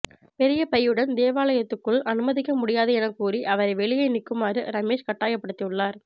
பெரிய பையுடன் தேவாலயத்துக்குள் அனுமதிக்க முடியாது எனக் கூறி அவரை வெளியே நிற்குமாறு ரமேஷ் கட்டாயப்படுத்தியுள்ளார்